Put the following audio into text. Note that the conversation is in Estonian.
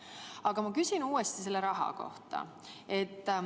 Aga ma küsin uuesti selle raha kohta.